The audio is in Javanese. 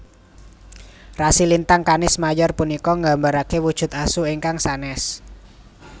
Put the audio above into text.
Rasi lintang Canis Major punika nggambaraken wujud Asu ingkang sanès